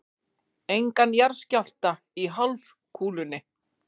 Engan jarðskjálfta í hálfkúlunni.